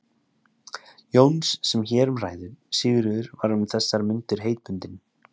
Jóns sem hér um ræðir, Sigríður, var um þessar mundir heitbundin